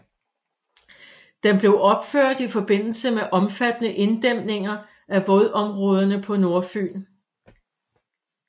Den blev opført i forbindelse med omfattende inddæmninger af vådområderne på Nordfyn